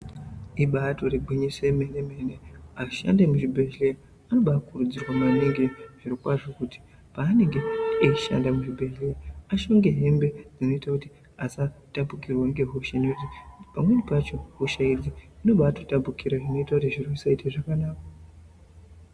Ibayitori gwinyiso yemene mene ashandi emuzvibhedhleya anobayi kurudzirwa maningi zviro kwazvo kuti paanenge eyishande muzvibhedhleya apfeke hembe dzinoite kuti asatapukirwe nezvirwere panweni pacho kushaye zvinotapukira kwakanakaa.